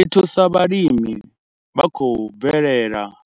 I thusa vhalimi vha khou bvelelaho,